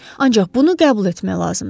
Ancaq bunu qəbul etmək lazımdır.